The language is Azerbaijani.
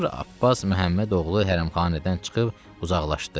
Sonra Abbas Məhəmmədoğlu hərəmxanədən çıxıb uzaqlaşdı.